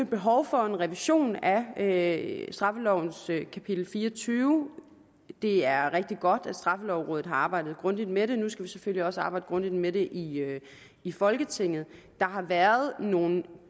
behov for en revision af straffelovens kapitel fireogtyvende det er rigtig godt at straffelovrådet har arbejdet grundigt med det nu skal vi selvfølgelig også arbejde grundigt med det i i folketinget der har været nogle